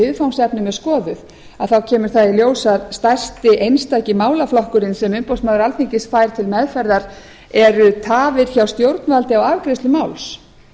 viðfangsefnum er skoðuð þá kemur það í ljós að stærsti einstaki málaflokkurinn sem umboðsmaður alþingis fær til meðferðar eru tafir hjá stjórnvaldi á afgreiðslu máls